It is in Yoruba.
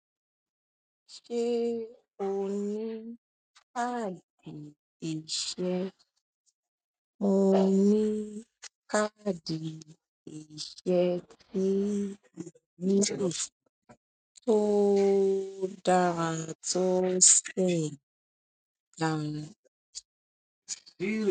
Ṣé o ní káàdì ìṣe? Mo ní káàdì ìṣe ni ìbí mi tó dára tó sí lánàá.